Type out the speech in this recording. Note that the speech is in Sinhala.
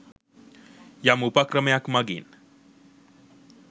යම් උපක්‍රමයක් මඟින්